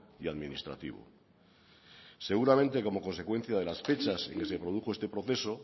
y administrativo seguramente como consecuencia de las fechas en que se produjo este proceso